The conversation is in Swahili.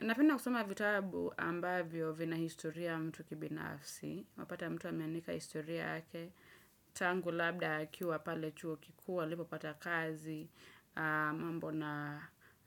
Napenda kusoma vitabu ambavyo vina historia ya mtu kibinafsi, unapata mtu ameandika historia yake, tangu labda akiwa pale chuo kikuu, alipopata kazi, mambo na